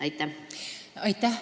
Aitäh!